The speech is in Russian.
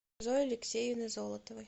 зои алексеевны золотовой